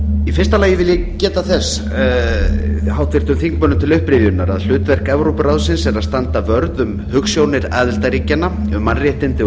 í fyrsta lagi vil ég geta þess háttvirtum þingmönnum til upprifjunar að hlutverk evrópuráðsins er að standa vörð um hugsjónir aðildarríkjanna um mannréttindi og